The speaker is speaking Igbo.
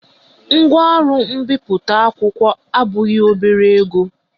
Ngwaọrụ ọrụ mbipụta akwụkwọ abụghị obere ego